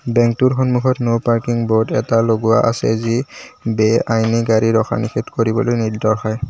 বেংকটোৰ সন্মুখত no parking board এটা লগোৱা আছে যি বে-আইনী গাড়ী ৰখা নিষেধ কৰিবলৈ নিৰ্দশাই।